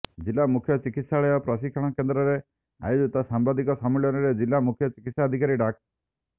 ଜିଲ୍ଲା ମୁଖ୍ୟ ଚିକିତ୍ସାଳୟ ପ୍ରଶିକ୍ଷଣ କେନ୍ଦ୍ରରେ ଆୟୋଜିତ ସାମ୍ବାଦିକ ସମ୍ମିଳନୀରେ ଜିଲ୍ଲା ମୁଖ୍ୟ ଚିକିତ୍ସାଧକାରୀ ଡା